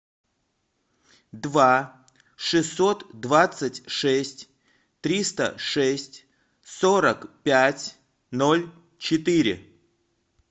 два шестьсот двадцать шесть триста шесть сорок пять ноль четыре